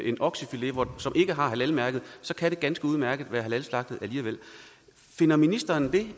en oksefilet som ikke har halalmærket så kan det ganske udmærket være halalslagtet alligevel finder ministeren det